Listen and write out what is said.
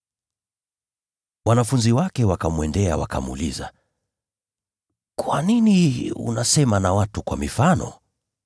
Wanafunzi wake wakamwendea, wakamuuliza, “Kwa nini unasema na watu kwa mifano?”